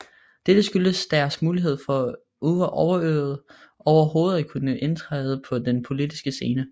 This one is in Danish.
Dette skyldtes deres mulighed for overhovedet at kunne indtræde på den politiske scene